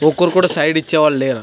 ఒక్కరు కూడా సైడ్ ఇచ్చేవాళ్ళు లేరు.